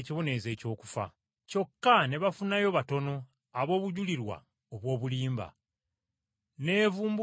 Kyokka ne bafunayo batono ab’obujulirwa obw’obulimba. N’evumbukayo babiri